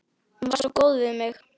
Hún var svo góð við mig.